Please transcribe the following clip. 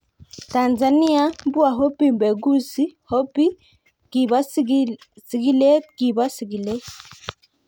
Tanzania: Mbwa Hobby mpekuzi �Hobby� kibo sigilet kibo sigilet.